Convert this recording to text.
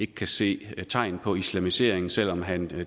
kan se tegn på islamisering selv om han